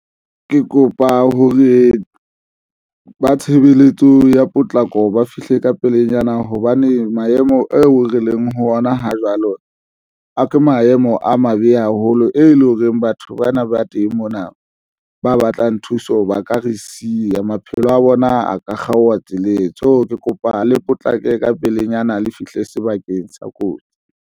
Ke kopa hore ba tshebeletso ya potlako ba fihle ka pelenyana, hobane maemo eo re leng ho ona ha jwalo, a ke maemo a mabe haholo ho e leng hore batho bana ba teng mona, ba batlang thuso ba ka re siya, maphelo a bona, a ka kgaoha tsoseletso. Ke kopa le potlake ka pelenyana le fihle sebakeng sa kotsi.